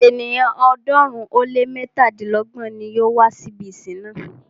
Ènìyàn ọ̀ọ́dúnrún ó lé mẹ́tàdínlọ́gbọ̀n ní yóò wá si ibi ìsìn náà.